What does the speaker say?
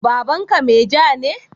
Babanka meja ne?